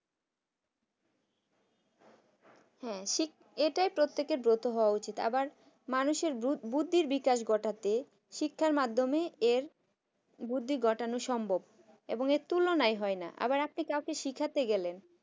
হ্যাঁ এটাই প্রত্যেকের ব্রত হওয়া উচিত আবার মানুষের বুদ্ধির বিকাশ ঘটাতে শিক্ষার মাধ্যমে এর বুদ্ধি ঘটানো সম্ভব এর তুলনাই হয় না আবার আপনি কাউকে শেখাতে গেলেন